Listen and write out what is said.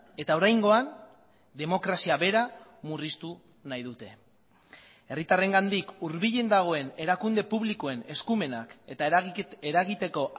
eta oraingoan demokrazia bera murriztu nahi dute herritarrengandik hurbilen dagoen erakunde publikoen eskumenak eta eragiteko